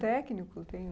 Técnico, tem